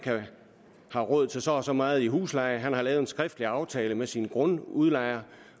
har råd til så og så meget i husleje han har lavet en skriftlig aftale med sin grundudlejer